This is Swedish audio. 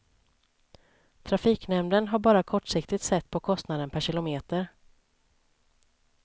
Trafiknämnden har bara kortsiktigt sett på kostnaden per kilometer.